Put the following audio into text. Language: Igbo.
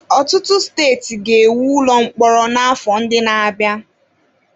Ọtụtụ steeti ga-ewu ụlọ mkpọrọ n'afọ ndị na-abịa.